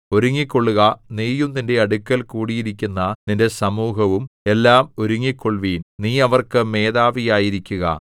ഒരുങ്ങിക്കൊള്ളുക നീയും നിന്റെ അടുക്കൽ കൂടിയിരിക്കുന്ന നിന്റെ സമൂഹവും എല്ലാം ഒരുങ്ങിക്കൊള്ളുവിൻ നീ അവർക്ക് മേധാവി ആയിരിക്കുക